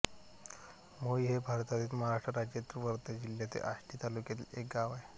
मोई हे भारतातील महाराष्ट्र राज्यातील वर्धा जिल्ह्यातील आष्टी तालुक्यातील एक गाव आहे